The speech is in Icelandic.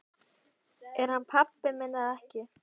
Er hann pabbi minn eða ekki?